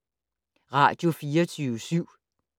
Radio24syv